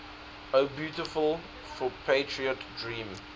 o beautiful for patriot dream